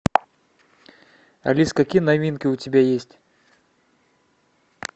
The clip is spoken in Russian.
алиса какие новинки у тебя есть